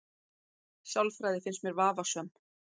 Sálfræði finnst mér vafasöm